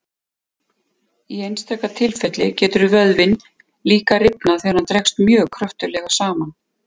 Í einstaka tilfelli getur vöðvinn líka rifnað þegar hann dregst mjög kröftuglega saman.